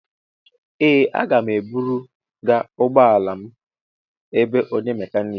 Ee, a ga m eburu ga ụgbọ ala m ebe onye mekaniki.